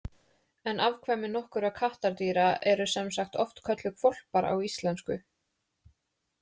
En afkvæmi nokkurra kattardýra eru sem sagt oft kölluð hvolpar á íslensku.